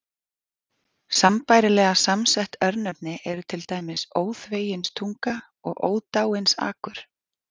Sambærilega samsett örnefni eru til dæmis Óþveginstunga og Ódáinsakur.